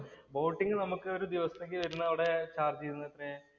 boating നമുക്ക് ഒരു ദിവസത്തേക്ക് വരുന്നത് അവിടെ ചാര്‍ജ് ചെയ്യുന്നത് തന്നെ